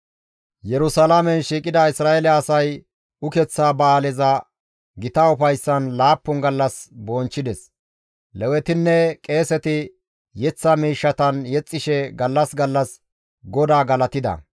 Yerusalaamen shiiqida Isra7eele asay ukeththa ba7aaleza gita ufayssan laappun gallas bonchchides; Lewetinne qeeseti yeththa miishshatan yexxishe gallas gallas GODAA galatida.